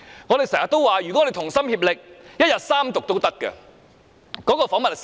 我們經常說，如果我們同心協力，一日三讀也無妨。